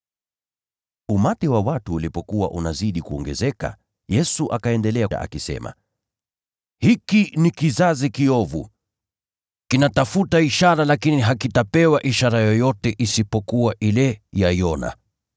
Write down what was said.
Umati wa watu ulipokuwa unazidi kuongezeka, Yesu akaendelea kusema, “Hiki ni kizazi kiovu. Kinatafuta ishara, lakini hakitapewa ishara yoyote isipokuwa ile ya Yona.